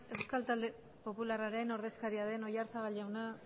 euskal talde popularraren ordezkaria den oyarzabal jauna